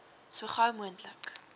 so gou moontlik